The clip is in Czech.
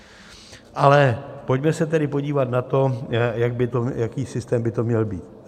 Ale pojďme se tedy podívat na to, jaký systém by to měl být.